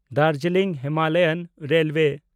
Darjeeling Himalayan railway